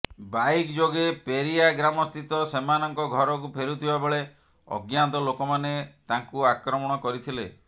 bike ଯୋଗେ ପେରିୟା ଗ୍ରାମସ୍ଥିତ ସେମାନଙ୍କ ଘରକୁ ଫେରୁଥିବା ବେଳେ ଅଜ୍ଞାତ ଲୋକମାନେ ତାଙ୍କୁ ଆକ୍ରମଣ କରିଥିଲେ